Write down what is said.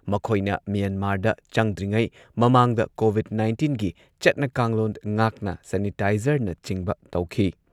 ꯃꯈꯣꯏꯅ ꯃ꯭ꯌꯦꯟꯃꯥꯔꯗ ꯆꯪꯗ꯭ꯔꯤꯉꯩ ꯃꯃꯥꯡꯗ ꯀꯣꯚꯤꯗ ꯅꯥꯏꯟꯇꯤꯟꯒꯤ ꯆꯠꯅ ꯀꯥꯡꯂꯣꯟ ꯉꯥꯛꯅ ꯁꯦꯅꯤꯇꯥꯏꯖꯔꯅꯆꯤꯡꯕ ꯇꯧꯈꯤ꯫